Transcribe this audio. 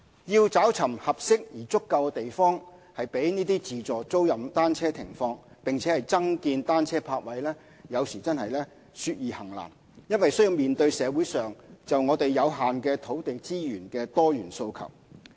要尋找合適而足夠的地方供自助租賃單車停放，並增建單車泊位，有時說易行難，因須面對社會上就有限土地資源的多元訴求。